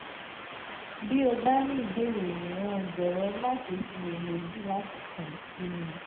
bí o bá ní ìbéèrè míràn jọ̀wọ́ má ṣe ṣiyèméjì láti kàn sí mi